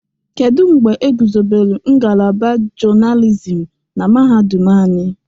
Kedu mgbe egwuzobelu ngalaba journalism na mahadum anyị?